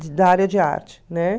De da área de arte, né?